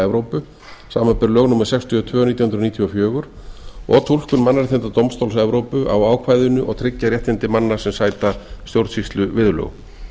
evrópu samanber lög númer sextíu og tvö nítján hundruð níutíu og fjögur og túlkun mannréttindadómstóls evrópu á ákvæðinu og tryggja réttindi manna sem sæta stjórnsýsluviðurlögum